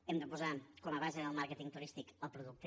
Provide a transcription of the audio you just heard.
hem de posar com a base del màrqueting turístic el producte